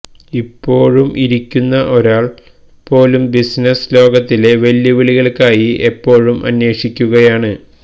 ഇപ്പോഴും ഇരിക്കുന്ന ഒരാൾ പോലും ബിസിനസ് ലോകത്തിലെ വെല്ലുവിളികൾക്കായി എപ്പോഴും അന്വേഷിക്കുകയാണ്